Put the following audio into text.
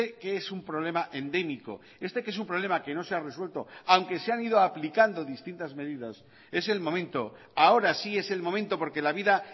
que es un problema endémico este que es un problema que no se ha resuelto aunque se han ido aplicando distintas medidas es el momento ahora sí es el momento porque la vida